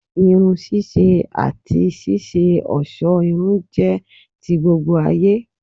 Irun ṣíṣe àti ṣíṣe òṣó irun jẹ́ ti gbogbo ayé